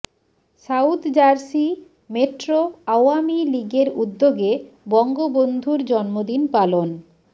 south Jersey metro Awami লীগের উদ্যোগে বঙ্গবন্ধুর জন্মদিন পালন